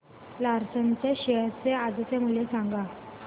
Larsen च्या share चे आजचे मूल्य सांगा